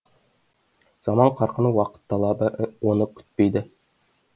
заман қарқыны уақыт талабы оны күтпейді